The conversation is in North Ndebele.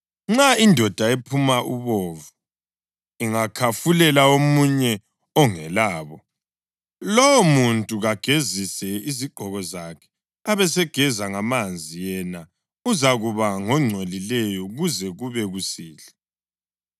Nxa indoda ephuma ubovu ingakhafulela omunye ongelabo, lowomuntu kagezise izigqoko zakhe abesegeza ngamanzi, yena uzakuba ngongcolileyo kuze kube kusihlwa.